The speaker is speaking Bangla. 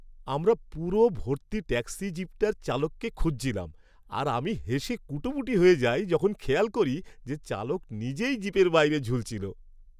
আমরা পুরো ভর্তি ট্যাক্সি জিপটার চালককে খুঁজছিলাম আর আমি হেসে কুটিপাটি হয়ে যাই যখন খেয়াল করি যে চালক নিজেই জিপের বাইরে ঝুলছিল।